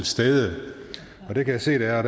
stede og det kan jeg se der er